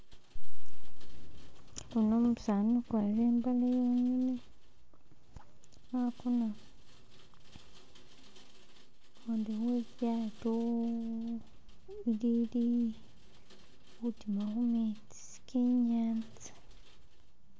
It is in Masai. Uno umusani ukwarile imbale khakona khundi we lyato ilili khutima khumetsi kenyatsa